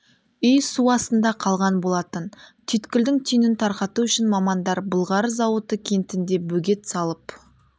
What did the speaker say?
үй су астында қалған болатын түйткілдің түйінін тарқату үшін мамандар былғары зауыты кентінде бөгет салып